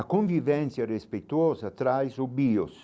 A convivência respeitosa traz o bios.